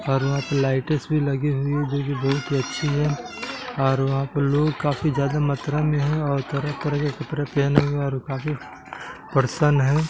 --और वहाँ पे लाइ-ट्स भी लगी हुई है जो की बहुत ही अच्छी है और वहाँ पे लोग काफी ज्यादा मात्रा में है और तरह-तरह के कपड़े पेहने हुए है और काफी पर्सन है।